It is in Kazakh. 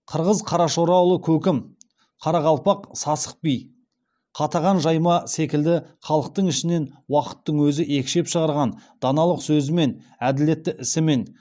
қырғыз қарашораұлы көкім қарақалпақ сасық би қатаған жайма секілді халықтың ішінен уақыттың өзі екшеп шығарған даналық сөзімен әділетті ісімен